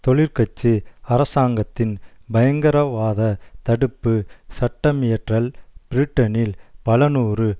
தொழிற்கட்சி அரசாங்கத்தின் பயங்கரவாதத் தடுப்பு சட்டமியற்றல் பிரிட்டனில் பலநூறு